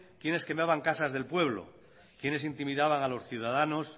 quiénes quemaban casas del pueblo quiénes intimidaban a los ciudadanos